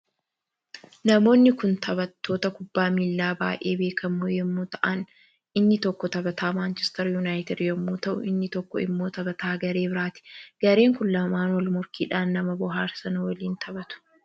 Namoonni Kun tabattoota kubbaa miila baay'ee beekamoo yommuu ta'an inni tokkoo tabataa Manchister yuunaayitid yommuu ta'u inni tokko immoo tabataa garee biraati gareen Kun lamaan walmorkiidhaan nama bohaarsan waliin tabatu.